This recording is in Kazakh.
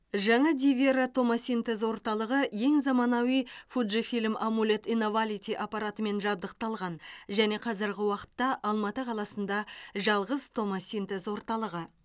жаңа дивера томосинтез орталығы ең заманауи фужфильм амулет инавалити аппаратымен жабдықталған және қазіргі уақытта алматы қаласында жалғыз томосинтез орталығы